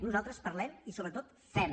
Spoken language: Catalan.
nosaltres parlem i sobretot fem